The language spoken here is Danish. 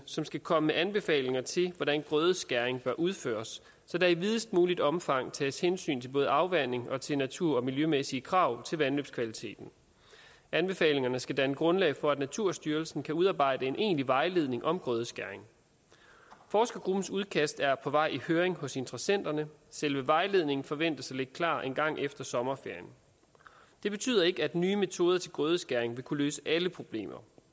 som skal komme med anbefalinger til hvordan grødeskæring bør udføres så der i videst muligt omfang tages hensyn til både afvanding og til natur og miljømæssige krav til vandløbskvaliteten anbefalingerne skal danne grundlag for at naturstyrelsen kan udarbejde en egentlig vejledning om grødeskæring forskergruppens udkast er på vej i høring hos interessenterne selve vejledningen forventes at ligge klar engang efter sommerferien det betyder ikke at nye metoder til grødeskæring vil kunne løse alle problemer